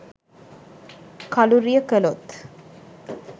කළුරිය කළොත්